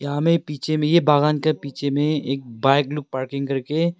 यहां में पीछे में ये बागान के पीछे में एक बाइक ब्लू पार्किंग करके--